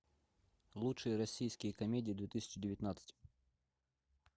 лучшие российские комедии две тысячи девятнадцать